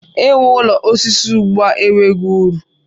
I wu ụlọ osisi ugbua enweghị uru.